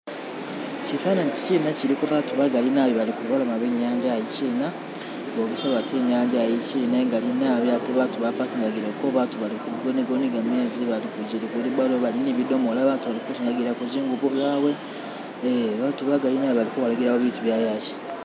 Shifananyi ishi shiliko abantu bagali nabi bali kulubalama lwe nyanza iyishina bogesa bati inyanza iyi ingali nabi ate abantu bapakingagileko, abantu baliko nigamezi, abali kuziwilubbalu, abaali ni bidomola, bandi balikusingagilako zingubo zawe ee abantu bagali nabi balikukolagilako ibintu byawe iya.